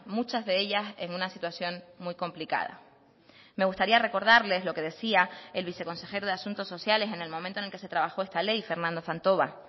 muchas de ellas en una situación muy complicada me gustaría recordarles lo que decía el viceconsejero de asuntos sociales en el momento en que se trabajó esta ley fernando fantova